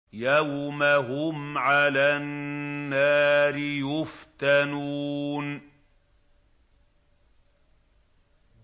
يَوْمَ هُمْ عَلَى النَّارِ يُفْتَنُونَ